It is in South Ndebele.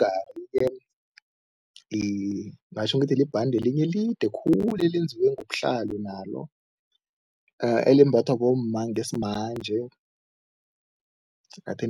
Umgari-ke ngingatjho ngithi libhande lelinye elide khulu elenziwe ngobuhlalu nalo, elimbathwa bomma ngesimanje